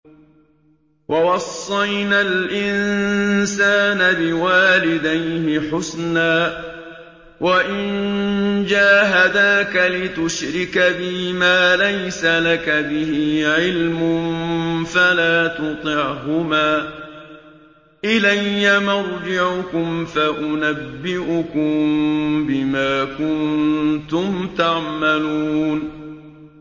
وَوَصَّيْنَا الْإِنسَانَ بِوَالِدَيْهِ حُسْنًا ۖ وَإِن جَاهَدَاكَ لِتُشْرِكَ بِي مَا لَيْسَ لَكَ بِهِ عِلْمٌ فَلَا تُطِعْهُمَا ۚ إِلَيَّ مَرْجِعُكُمْ فَأُنَبِّئُكُم بِمَا كُنتُمْ تَعْمَلُونَ